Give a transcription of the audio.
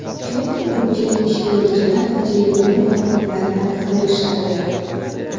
chunki ko‘pchilik ish beruvchilar tajribali xodimlarni qidirishadi.